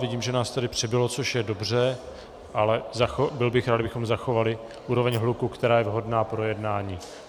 Vidím, že nás tady přibylo, což je dobře, ale byl bych rád, kdybychom zachovali úroveň hluku, která je vhodná pro jednání.